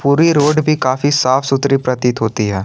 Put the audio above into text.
Puri road भी काफी साफ सुथरी प्रतीत होती है।